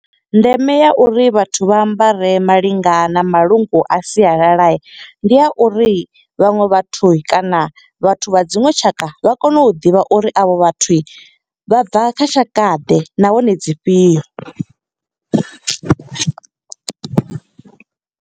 Ndeme ya uri vhathu vha ambare malinga na malungu a sialala, ndi ya uri vhaṅwe vhathu kana vhathu vha dziṅwe tshaka, vha kone u ḓivha uri a vho vhathu vha bva kha tshaka ḓe. Nahone, dzi fhio?